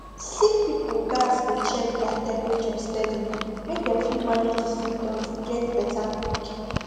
sick pipo gatz dey check their temperature steady make dem fit manage di symptoms get beta quick